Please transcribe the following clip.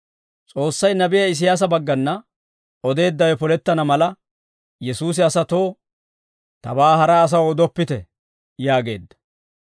S'oossay nabiyaa Isiyaasa baggana odeeddawe polettana mala, Yesuusi asatoo, «Tabaa hara asaw odoppite» yaageedda.